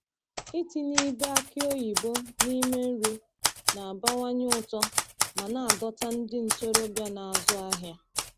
Ịtinye ibe aki oyibo n’ime nri na-abawanye ụtọ ma na-adọta ndị ntorobịa na-azụ ahịa.